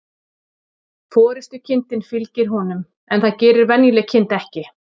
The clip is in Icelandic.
Forystukindin fylgir honum, en það gerir venjuleg kind ekki.